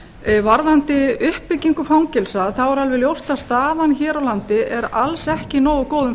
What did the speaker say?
því varðandi uppbyggingu fangelsa er alveg ljóst að staðan hér á landi er alls ekki í nógu góðum